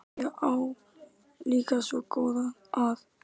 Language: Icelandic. Ég á líka svo góða að.